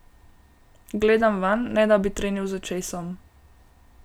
Gledam vanj, ne da bi trenil z očesom.